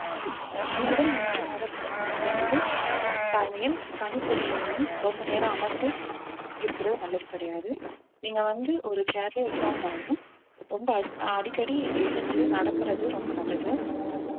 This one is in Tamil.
முதல் மூன்று மாதத்துல வந்து தாய்மையில் கணிப்பொறியின் முன் ரொம்ப நேரம் அமர்ந்து இருக்கிறது நல்லது கிடையாது நீங்க வந்து ஒரு chair லயே உட்கார்ந்தாலும் ரொம்ப அடி~ ஆஹ் அடிக்கடி நீங்க எந்திரிச்சு நடக்குறது ரொம்ப நல்லது